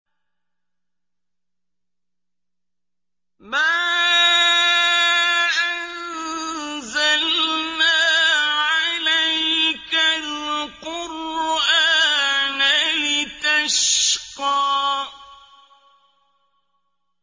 مَا أَنزَلْنَا عَلَيْكَ الْقُرْآنَ لِتَشْقَىٰ